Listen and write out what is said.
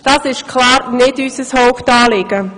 Das ist klar nicht unser Hauptanliegen.